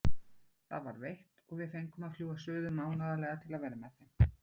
Það var veitt og við fengum að fljúga suður mánaðarlega til að vera með þeim.